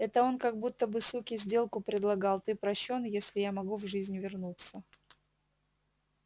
это он как будто бы суке сделку предлагал ты прощён если я могу в жизнь вернуться